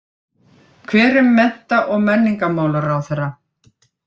Hver er mennta- og menningarmálaráðherra?